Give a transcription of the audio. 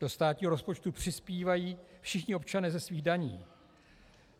Do státního rozpočtu přispívají všichni občané ze svých daní.